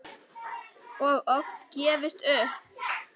Og oft gefist upp.